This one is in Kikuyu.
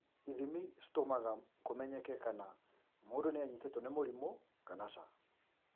Ithimi cītũmaga kũmenyeke kana mũndũ nĩanyĩtĩtwo nĩ mũrimũ kana cã